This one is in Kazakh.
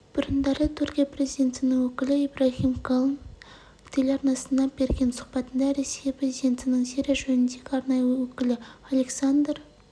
бұрындары түркия президентінің өкілі ибрагим калын телеарнасына берген сұхбатында ресей президентінің сирия жөніндегі арнайы өкілі александр